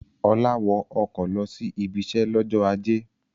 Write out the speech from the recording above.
Ọlá wọ ọkọ̀ lọ sí ibiṣẹ́ lọ́jọ́ ajé.